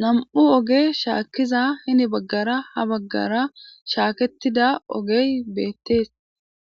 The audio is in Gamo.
nam'u oge shaakkiza hini baggara ha baggara shaaketida ogey beettees